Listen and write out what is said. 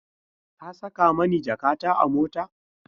Ka saka mani jakata a mota?